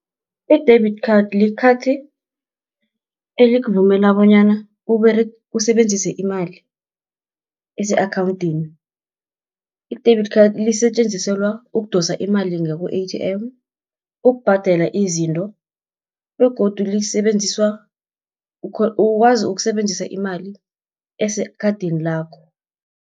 I-debit card, likhathi elikuvumela bonyana usebenzise imali, ese-akhawunthini. I-debit card lisetjenziselwa ukudosa imali ngaku-A_T_M, ukubhadela izinto, begodu ukwazi ukusebenzisa imali esekhathini lakho.